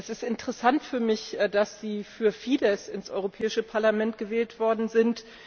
Es ist interessant für mich, dass Sie für Fidesz ins Europäische Parlament gewählt worden sind.